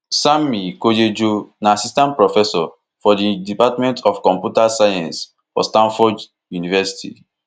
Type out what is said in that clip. sanmi koyejo na assistant professor for di department of computer science for stanford university